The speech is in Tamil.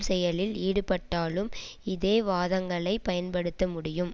செயலில் ஈடுபட்டாலும் இதே வாதங்களை பயன்படுத்தமுடியும்